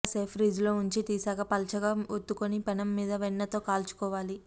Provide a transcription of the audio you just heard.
కాసేపు ఫ్రిజ్లో ఉంచి తీశాక పల్చగా ఒత్తుకుని పెనం మీద వెన్నతో కాల్చుకోవాలి